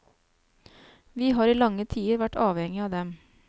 Vi har i lange tider vært avhengige av dem.